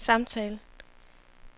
samtale